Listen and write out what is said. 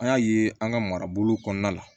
An y'a ye an ka marabolo kɔnɔna la